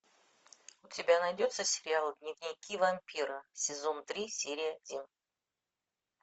у тебя найдется сериал дневники вампира сезон три серия один